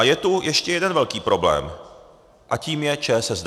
A je tu ještě jeden velký problém a tím je ČSSD.